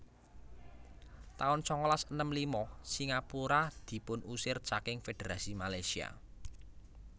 taun sangalas enem lima Singapura dipunusir saking Fédherasi Malaysia